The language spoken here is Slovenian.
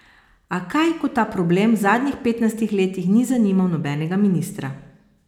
A kaj, ko ta problem v zadnjih petnajstih letih ni zanimal nobenega ministra.